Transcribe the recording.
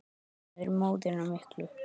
Yfir móðuna miklu.